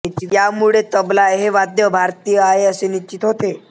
यामुळे तबला हे वाद्य भारतीय आहे असे निश्चित होते